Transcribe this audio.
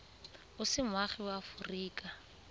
o se moagi wa aforika